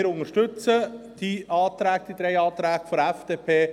Wir unterstützen die drei Anträge der FDP.